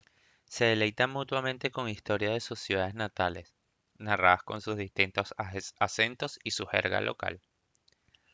se deleitan mutuamente con historias de sus ciudades natales narradas con sus distintos acentos y su jerga local